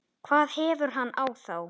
hvað hefur hann á þá?